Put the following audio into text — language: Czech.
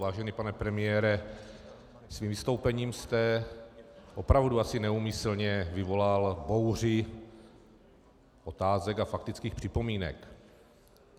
Vážený pane premiére, svým vystoupením jste opravdu asi neúmyslně vyvolal bouři otázek a faktických připomínek.